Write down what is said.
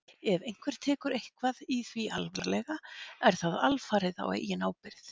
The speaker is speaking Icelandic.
Ef einhver tekur eitthvað í því alvarlega er það alfarið á eigin ábyrgð.